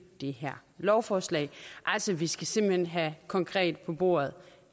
det her lovforslag altså vi skal simpelt hen have konkret på bordet